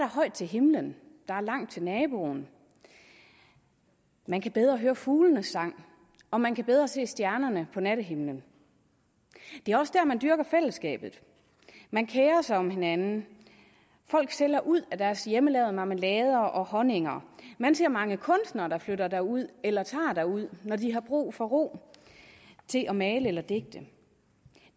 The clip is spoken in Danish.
højt til himlen der er langt til naboen man kan bedre høre fuglenes sang og man kan bedre se stjernerne på nattehimlen det er også der man dyrker fællesskabet man kerer sig om hinanden folk sælger ud af deres hjemmelavede marmelader og honninger man ser mange kunstnere der flytter derud eller tager derud når de har brug for ro til at male eller digte